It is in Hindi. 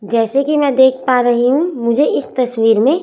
जैसे कि मैं देख पा रही हूं मुझे इस तस्वीर में--